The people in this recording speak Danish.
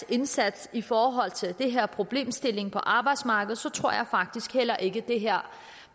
indsats i forhold til den her problemstilling på arbejdsmarkedet tror jeg faktisk heller ikke at det her